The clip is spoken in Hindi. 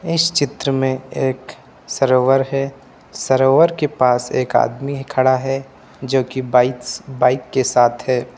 इस चित्र में एक सरोवर है सरोवर के पास एक आदमी खड़ा है जो कि बाइक्स बाइक के साथ है।